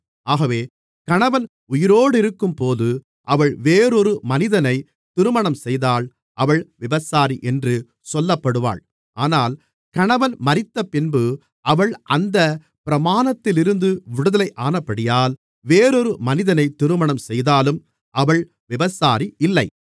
ஆகவே கணவன் உயிரோடிருக்கும்போது அவள் வேறொரு மனிதனை திருமணம்செய்தால் அவள் விபசாரி என்று சொல்லப்படுவாள் ஆனால் கணவன் மரித்தபின்பு அவள் அந்தப் பிரமாணத்திலிருந்து விடுதலையானபடியால் வேறொரு மனிதனை திருமணம் செய்தாலும் அவள் விபசாரி இல்லை